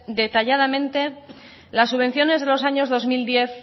detalladamente las subvenciones de los años dos mil diez